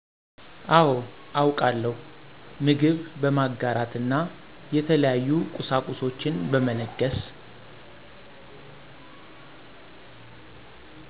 አዎ አውቃለው ምግብ በማጋራት እና የተለያዩ ቁሳቁሷችን በመለገስ